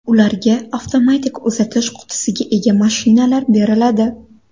Ularga avtomatik uzatish qutisiga ega mashinalar beriladi.